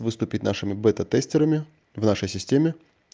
выступит нашими бета-тестерами в нашей системе